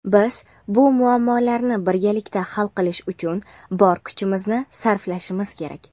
biz bu muammolarni birgalikda hal qilish uchun bor kuchimizni sarflashimiz kerak.